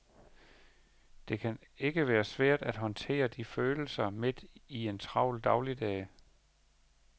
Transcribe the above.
Kan det ikke være svært at håndtere de følelser midt i en travl dagligdag.